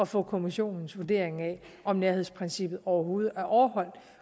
få kommissionens vurdering af om nærhedsprincippet overhovedet er overholdt